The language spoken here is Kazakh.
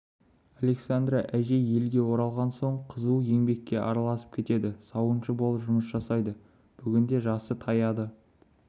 александра әжей елге оралған соң қызу еңбекке араласып кетеді сауыншы болып жұмыс жасайды бүгінде жасы таяды